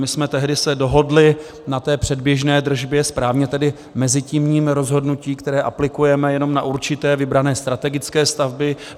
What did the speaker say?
My jsme tehdy se dohodli na té předběžné držbě, správně tedy mezitímním rozhodnutí, které aplikujeme jenom na určité vybrané strategické stavby.